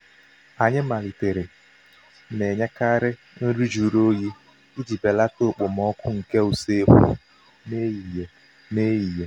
anyị malitere na-enyekarị nri jụrụ oyi iji belata okpomọkụ nke usekwu n'ehihie. n'ehihie.